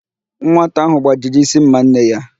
Nwata ahụ gbajiri ísí ḿmà nne ya.